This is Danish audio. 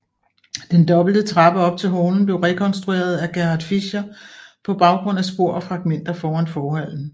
Den dobbelt trappe op til hallen blev rekonstrueret af Gerhard Fischer på baggrund af spor og fragmenter foran forhallen